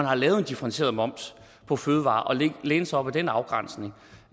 har lavet en differentieret moms på fødevarer og læne sig op ad den afgrænsning